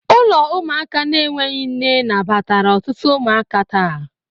Ụlọ ụmụaka na-enweghị nne nabatara ọtụtụ ụmụaka taa